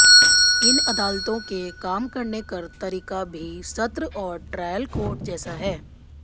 इन अदालतों के काम करने कर तरीका भी सत्र और ट्रायल कोर्ट जैसा है